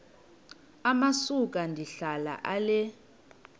amasuka ndihlala ale